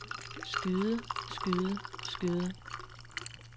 skyde skyde skyde